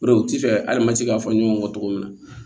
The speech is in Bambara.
O de u ti fɛ hali an ma se k'a fɔ ɲɔgɔn kɔ cogo min na